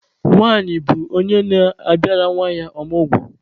Nwanyị bụ onye na-abịara nwa ya ọmụgwọ.